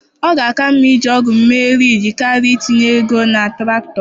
Ọ ga-aka mma iji ọgụ mee rịjizi karịa itinye nnukwu ego na traktọ.